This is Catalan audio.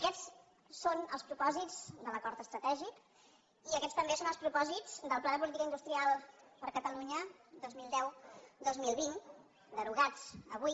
aquests són els propòsits de l’acord estratè·gic i aquests també són els propòsits del pla de políti·ca industrial per a catalunya dos mil deu·dos mil vint derogat avui